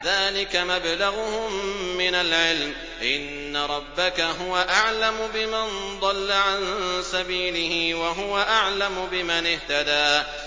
ذَٰلِكَ مَبْلَغُهُم مِّنَ الْعِلْمِ ۚ إِنَّ رَبَّكَ هُوَ أَعْلَمُ بِمَن ضَلَّ عَن سَبِيلِهِ وَهُوَ أَعْلَمُ بِمَنِ اهْتَدَىٰ